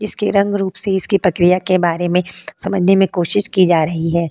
इसके रंग रूप से इसकी प्रक्रिया के बारे में समझने में कोशिश की जा रही है।